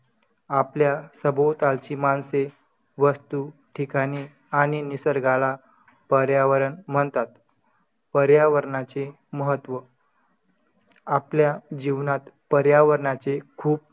आपल्या सभोताची माणसे वस्तु, ठिकाणे आणि निसर्गाला पर्यावरण म्हणतात. पर्यावरणाचे महत्व. आपल्या जीवनात पर्यावरणाचे खूप